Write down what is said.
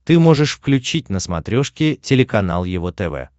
ты можешь включить на смотрешке телеканал его тв